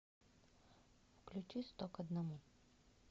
включи сто к одному